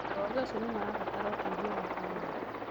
Arũaru acio nĩ mabataraga ũteithio wa bamĩrĩ